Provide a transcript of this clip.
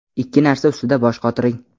Ikki narsa ustida bosh qotiring.